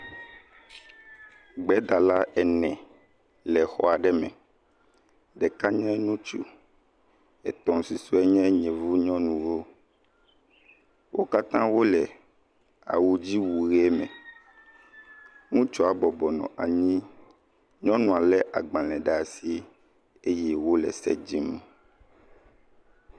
Gbedala ene le xɔ aɖe me. Ɖeka nye ŋutsu. Etɔ̃ susue nye yevu nyɔnuwo. Wo katã wo le awudziwu ʋi me. Ŋutsua bɔbɔnɔ anyi, nyɔnua le agbale ɖe asi eye wo le se dzim.